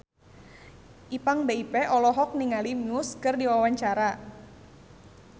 Ipank BIP olohok ningali Muse keur diwawancara